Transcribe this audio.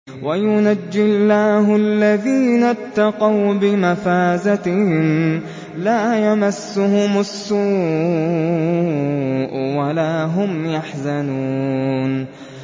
وَيُنَجِّي اللَّهُ الَّذِينَ اتَّقَوْا بِمَفَازَتِهِمْ لَا يَمَسُّهُمُ السُّوءُ وَلَا هُمْ يَحْزَنُونَ